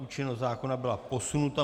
Účinnost zákona byla posunuta.